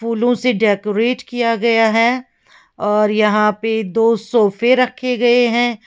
फूलों से डेकोरेट किया गया है और यहां पे दो सोफे रखे गए हैं।